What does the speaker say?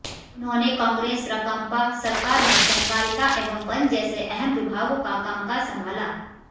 उन्होंने कांग्रेस राकांपा सरकार में सहकारिता एवं वन जैसे अहम विभागों का कामकाज संभाला